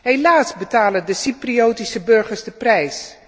Helaas betalen de Cypriotische burgers de prijs.